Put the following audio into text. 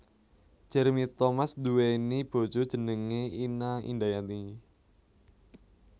Jeremy Thomas nduwèni bojo jenengé Ina Indayanti